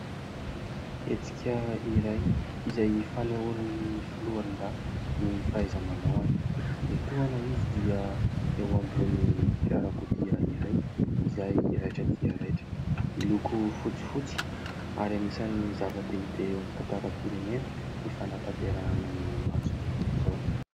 Hetsika iray izay fanehon'ny filoha alindahy ny fahaiza manaony. Etoana izy dia eo ambon'ny fiarakodia iray izay raitra dia raitra, miloko fotsifotsy. Ary anisany ny zava-dehibe eo amin'ny tantaram-pirenena ny fanantanterahana ny matso toa izao.